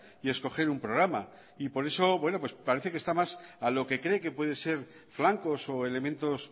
y escoger un programa y por eso bueno parece que está más a lo que cree que puede ser flancos o elementos